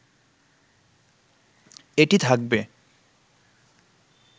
এটি থাকবে